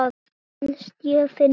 Mér finnst ég fyndin.